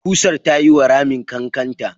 ƙusar ta yiwa ramin ƙanƙanta.